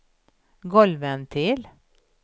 golvventil